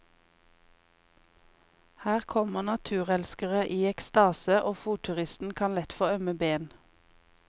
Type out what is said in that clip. Her kommer naturelskere i ekstase, og fotturisten kan lett få ømme ben.